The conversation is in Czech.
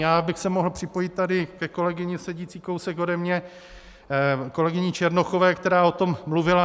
Já bych se mohl připojit tady ke kolegyni sedící kousek ode mě, kolegyni Černochové, která o tom mluvila.